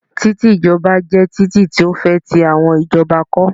Express ways are wide roads built by the government